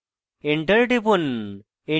enter টিপুন